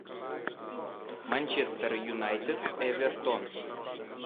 манчестер юнайтед эвертон